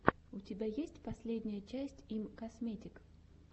у тебя есть последняя часть имкосметик